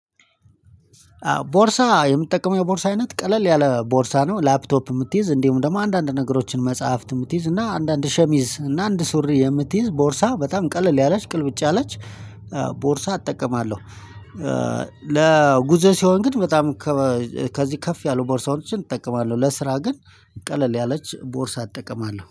ቦርሳ የምትጠቀመው የቦርሳ አይነት ቀለል ያለ ቦርሳ ነው? ላፕቶፕ የምትይዝ እንዲሁም ደግሞ አንዳንድ ነገሮችን መጽሐፍት የምትይዝ እና አንዳንድ ሸሚዝ እና አንድ ሱሪ የምትይዝ ቦርሳ በጣም ቀለል ያላች ቅልብጭ ያላች ቦርሳ እጠቀማለሁ። ለጉዞ ሲሆን ግን በጣም ከዚህ ከፍ ያሉ ቦርሳዎችን እጠቀማለሁ። ለስራ ግን ቀለል ያለች ቦርሳ እጠቀማለሁ